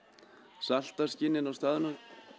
salta skinnin á staðnum